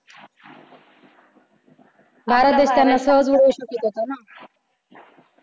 भारत देश त्यांना सहज उडवू शकत होता ना.